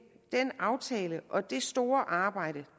den aftale og det store arbejde